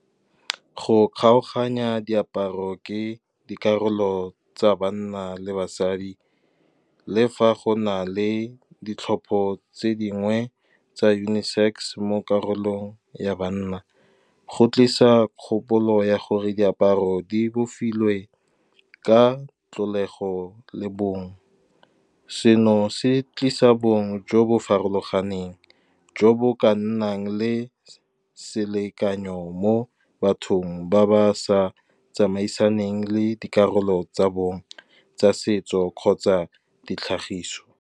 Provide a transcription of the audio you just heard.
Go kgaoganya diaparo ke dikarolo tsa banna le basadi, le fa go na le ditlhopho tse dingwe tsa uni-sex. Mo karolong ya banna go tlisa kgopolo ya gore diaparo di bofilwe ka tlholego le bong, seno se tlisa bong jo bo farologaneng jo bo ka nnang le selekanyo mo bathong ba ba sa tsamaisaneng le dikarolo tsa bone tsa setso kgotsa ditlhagiso.